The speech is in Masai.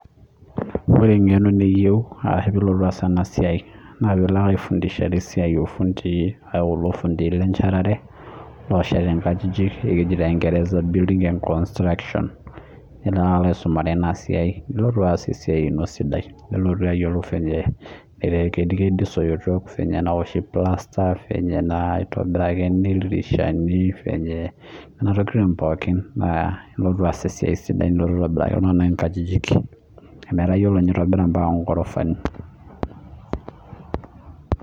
ore engeno niyiou naa piilo ake aifundishare ifunndii kulo lenchatare loosheti nkajijil enaa naawoshi plaster atipika ildirishani nilo aisomea ampaka niyiolou atipika mpaka ingorofani